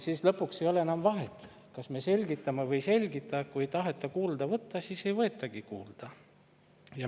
Siis lõpuks ei ole enam vahet, kas me selgitame või ei selgita – kui ei taheta kuulda võtta, siis ei võetagi kuulda.